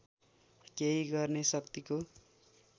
केही गर्ने शक्तिको